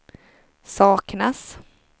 saknas